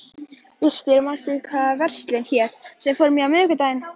Birtir, manstu hvað verslunin hét sem við fórum í á miðvikudaginn?